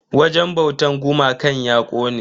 Wajen bautan gumakan ya kone.